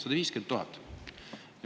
150 000!